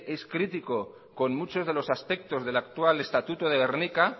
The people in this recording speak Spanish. es crítico con muchos del actual estatuto de gernika